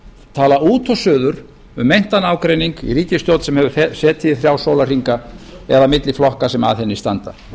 tala út og suður um meintan ágreining í ríkisstjórn sem hefur setið í þrjá sólarhringa eða milli flokka sem að henni standa